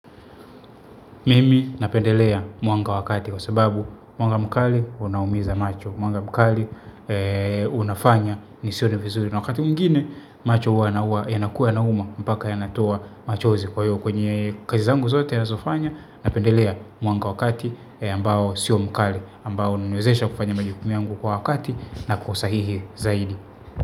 Mimi napendelea mwanga wa kati kwa sababu mwanga mkali unaumiza macho mwanga mkali unafanya nisione vizuri na wakati mwingine macho hua yanakua yana uma mpaka yanatoa machozi kwa hiyo kwenye kazi zangu zote nazofanya. Napendelea mwanga wa kati ambao sio mkali ambao huniwezesha kufanya majukumu yangu kwa wakati na kwa usahihi zaidi.